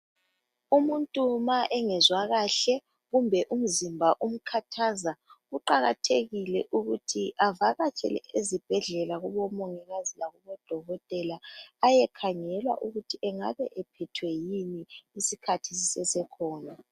Umuntu ma engezwa kahle kumbe umzimba umkhathaza kuqakathekile ukuthi avakatshela ezibhedlela kubomongikazi lakubodokotela ayekhangelwa ukuthi angabe ephethwe yini isikhathi sisesekhona.